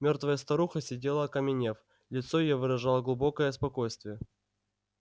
мёртвая старуха сидела окаменев лицо её выражало глубокое спокойствие